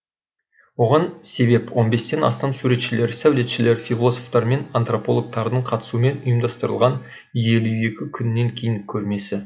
оған себеп он бестен астам суретшілер сәулетшілер философтар мен антропологтардың қатысуымен ұйымдастырылған елу екі күннен кейін көрмесі